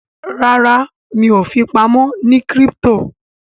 ràrá mi'o fipamọ ní crypto.